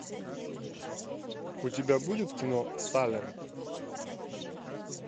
у тебя будет кино салем